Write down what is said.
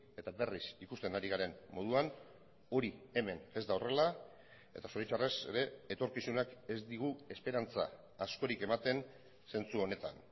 eta berriz ikusten ari garen moduan hori hemen ez da horrela eta zoritxarrez ere etorkizunak ez digu esperantza askorik ematen zentzu honetan